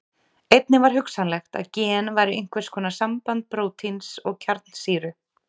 Einnig var hugsanlegt að gen væru einhvers konar samband prótíns og kjarnsýru.